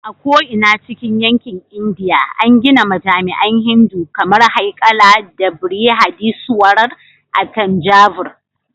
A ko'ina cikin yankin Indiya, an gina majami'an Hindu kamar Haikali na Brihadeeswarar a Thanjavur.